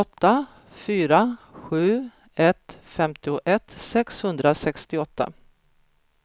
åtta fyra sju ett femtioett sexhundrasextioåtta